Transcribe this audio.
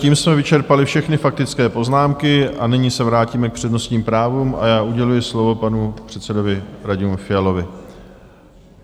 Tím jsme vyčerpali všechny faktické poznámky, a nyní se vrátíme k přednostním právům, a já uděluji slovo panu předsedovi Radimu Fialovi.